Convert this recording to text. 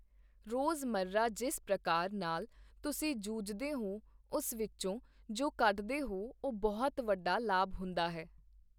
ਰੋਜ਼-ਮਹਿਰਾ ਜਿਸ ਪ੍ਰਕਾਰ ਨਾਲ ਤੁਸੀਂ ਜੂਝਦੇ ਹੋ ਉਸ ਵਿੱਚੋਂ ਜੋ ਕੱਢਦੇ ਹੋ, ਉਹ ਬਹੁਤ ਵੱਡਾ ਲਾਭ ਹੁੰਦਾ ਹੈ।